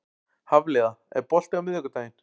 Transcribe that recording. Hafliða, er bolti á miðvikudaginn?